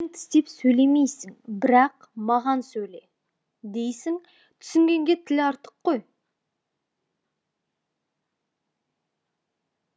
тілің тістеп сөйлемейсің бірақ маған сөйле дейсің түсінгенге тіл артық қой